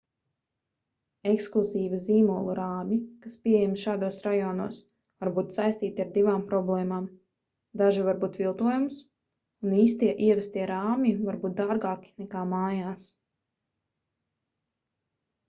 ekskluzīvi zīmolu rāmji kas pieejami šādos rajonos var būt saistīti ar divām problēmām daži var būt viltojums un īstie ievestie rāmji var būt dārgāki nekā mājās